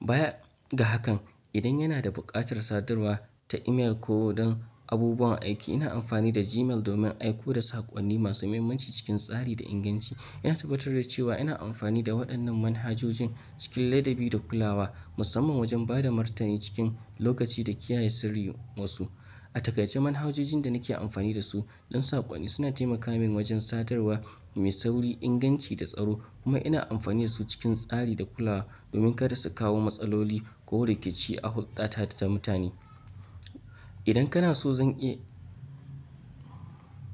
Baya ga hakan, idan yana da buƙatar sadarwa ta imel ko don abubuwan aiki, ina amfani da Gmail domin aiko da saƙonni masu mahimmanci cikin tsari da inganci. Ina tabbatar da cewa ina amfani da waɗannan manhajojin cikin ladabi da kulawa, musamman wajen ba da martani cikin lokaci da kiyaye sirrin wasu. A taƙaice manhajojin da nake amfani da su don saƙonni suna taimaka min wajen sadarwa mai sauri, inganci da tsaro kuma ina amfani da su cikin tsari da kulawa domin kada su kawo matsaloli ko rikici a hulɗata da ta mutane. Idan kana so zan iya.